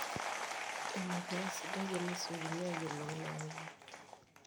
ina pee aasidai enesiokini aayiolou ina mweyian